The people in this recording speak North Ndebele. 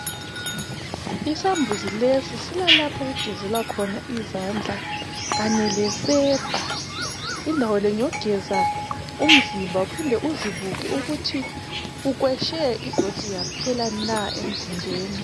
Izambuzi lesi silalapho okugezelwa khona izandla kanye lesepa, indawo le ngeyokugeza umzimba uphinde uzibuke ukuthi ukweshe idoti yaphela na emzimbeni.